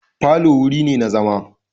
Falo wuri ne na zauma.